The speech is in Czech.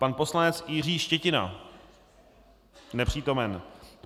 Pan poslanec Jiří Štětina: Nepřítomen.